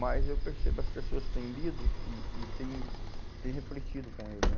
Mas eu percebo as pessoas têm lido e e têm têm refletido com ele, né?